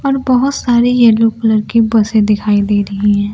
और बहोत सारे येलो कलर के बसे दिखाई दे रही हैं।